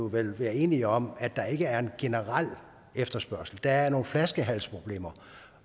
vel være enige om at der ikke er en generel efterspørgsel der er nogle flaskehalsproblemer